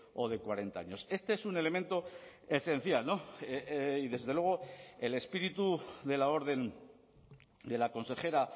o de cuarenta años este es un elemento esencial y desde luego el espíritu de la orden de la consejera